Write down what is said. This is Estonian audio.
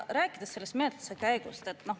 Räägin sellest menetluse käigust.